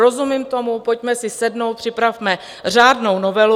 Rozumím tomu, pojďme si sednout, připravme řádnou novelu.